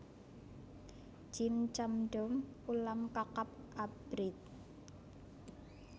Jjim chamdeom ulam kakap abrit